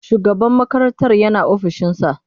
Shugaban makarantar yana ofishinsa?